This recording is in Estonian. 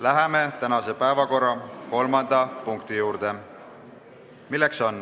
Läheme tänase päevakorra kolmanda punkti juurde.